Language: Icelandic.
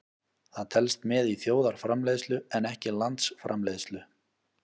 Það telst með í þjóðarframleiðslu en ekki landsframleiðslu.